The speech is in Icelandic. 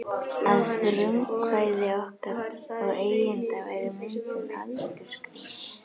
Að frumkvæði okkar og eigenda var myndin aldursgreind.